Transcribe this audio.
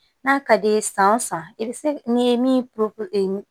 N'a ka d'i ye san o san i bi se n'i ye min